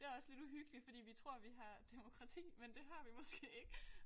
Det også lidt uhyggeligt fordi vi tror vi har demokrati men det har vi måske ikke